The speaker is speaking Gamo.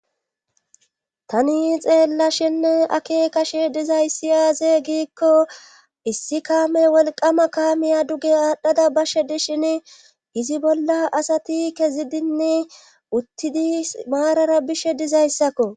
Tani xeellashinne ake kashe dizayssi aaze giikko issi kaame wolqama kaamiya duge aadhdhada bashe dishin izi bolla asati kezidinni uttidi maarara bishe dizayssakko.